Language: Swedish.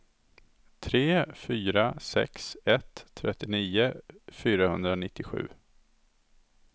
tre fyra sex ett trettionio fyrahundranittiosju